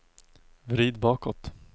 vrid bakåt